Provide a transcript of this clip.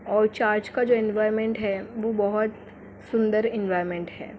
और चर्च का जो एनवायरनमेंट है वो बहुत सुंदर एनवायरनमेंट है।